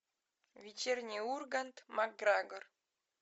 вечерний ургант макгрегор